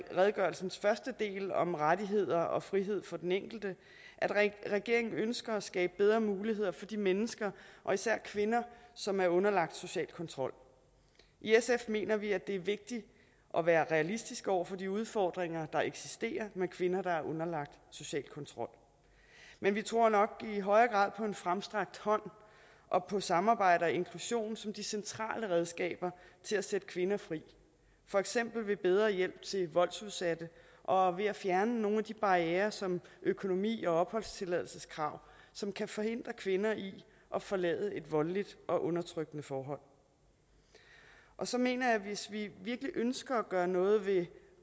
redegørelsens første del om rettigheder og frihed for den enkelte at at regeringen ønsker at skabe bedre muligheder for de mennesker og især kvinder som er underlagt social kontrol i sf mener vi at det er vigtigt at være realistisk over for de udfordringer der eksisterer med kvinder der er underlagt social kontrol men vi tror nok i højere grad på en fremstrakt hånd og på samarbejde og inklusion som de centrale redskaber til at sætte kvinder fri for eksempel ved bedre hjælp til voldsudsatte og ved at fjerne nogle af de barrierer som økonomi og opholdstilladelseskrav som kan forhindre kvinder i at forlade et voldeligt og undertrykkende forhold og så mener jeg at hvis vi virkelig ønsker at gøre noget ved de